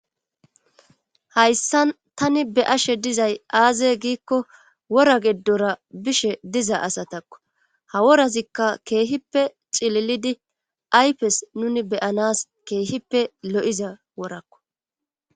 Hayssan tani be'ashe dizay aaze giikko wora geddora bishe diza asatakko ha worazikka keehippe cililidi aypes nuni beyanas keehippe lo7iza worakko.